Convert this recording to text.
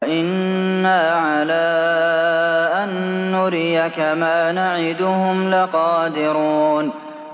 وَإِنَّا عَلَىٰ أَن نُّرِيَكَ مَا نَعِدُهُمْ لَقَادِرُونَ